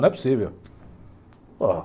Não é possível. Pô